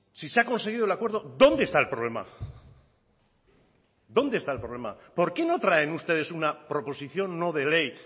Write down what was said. si se ha conseguido el acuerdo dónde está el problema dónde está el problema por qué no traen ustedes una proposición no de ley